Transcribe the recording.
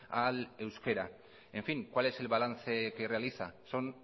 al euskera en fin cuál es el balance que realiza son